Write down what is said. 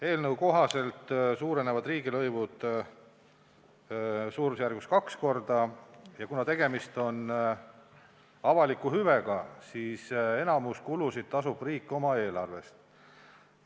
Eelnõu kohaselt suurenevad riigilõivud suurusjärgus kaks korda ja kuna tegemist on avaliku hüvega, siis enamiku kulusid tasub riik oma eelarvest.